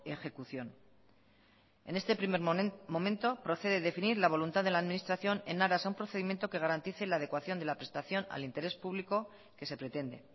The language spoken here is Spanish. ejecución en este primer momento procede definir la voluntad de la administración en aras a un procedimiento que garantice la adecuación de la prestación al interés público que se pretende